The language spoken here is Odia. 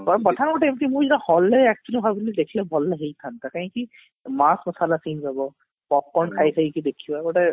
but pathan ଗୋଟେ ଏମତି movie hall ରେ actually ଭାବୁଥିଲି ଦେଖିଥିଲେ ଭଲ ହେଇ ଥାନ୍ତା କାହିଁକି popcorn ଖାଇ ଖାଇ ଦେଖିବ ଗୋଟେ